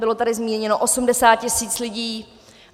Bylo tady zmíněno 80 000 lidí.